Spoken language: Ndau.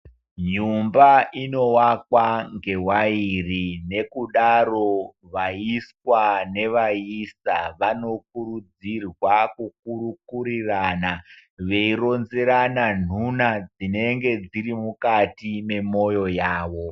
Nyumba inowakwa ngewairi . Ngekudaro vayiswa neaaisa vanokurudzirwa kukurikurirana vei ronzerana ntuna dzinenge dziri mukati memoyo yawo.